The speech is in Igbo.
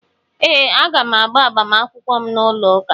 Ee, aga m agba agbamakwụkwọ m n'ụlọụka.